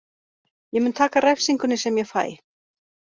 Ég mun taka refsingunni sem ég fæ.